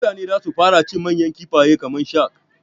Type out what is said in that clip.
Mutane zasu fara cin manyan kifaye kamar shak